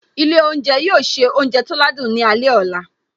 Ilé oúnjẹ yóò se oúnjẹ tó ládùn ní alẹ́ ọ̀la